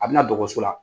A bɛna dɔgɔso la